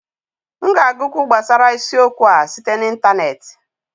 M ga-agụkwu gbasara isiokwu a site na ịntaneetị